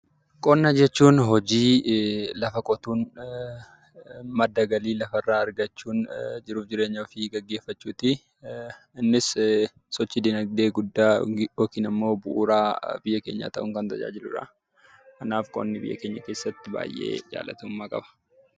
Qonna jechuun hojii lafa qotuun madda galii lafarraa argachuun jiruu fi jireenya ofii gaggeeffachuuti. Innis sochii dinagdee guddaa yookiin immoo bu'uura biyya keenyaa ta'uun kan tajaajiludha. Kanaaf qonni biyya keenya keessatti baay'ee jaallatamummaa qaba.